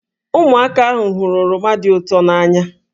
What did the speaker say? Ụmụaka ahụ hụrụ oroma dị ụtọ n'anya